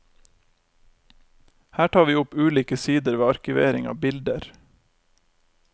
Her tar vi opp ulike sider ved arkivering av bilder.